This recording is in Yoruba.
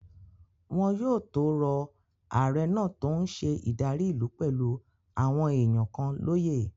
Wọn yóò tó rọ ààrẹ náà tó n ṣe ìdarí ìlú pẹ̀lú àwọn èèyàn kan lóyè